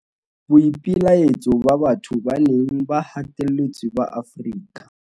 Boipelaetso ba batho ba neng ba hatelletswe ba Afrika